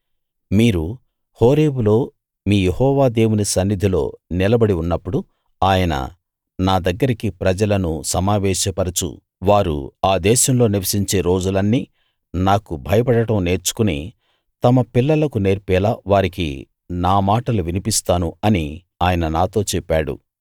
మీరు హోరేబులో మీ యెహోవా దేవుని సన్నిధిలో నిలబడి ఉన్నప్పుడు ఆయన నా దగ్గరికి ప్రజలను సమావేశపరచు వారు ఆ దేశంలో నివసించే రోజులన్నీ నాకు భయపడడం నేర్చుకుని తమ పిల్లలకు నేర్పేలా వారికి నా మాటలు వినిపిస్తాను అని ఆయన నాతో చెప్పాడు